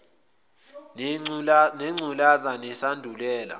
nengcu laza nesandulela